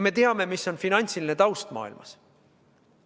Me teame, milline on finantsiline taust maailmas.